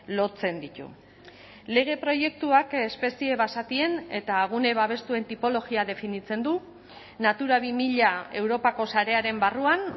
lotzen ditu lege proiektuak espezie basatien eta gune babestuen tipologia definitzen du natura bi mila europako sarearen barruan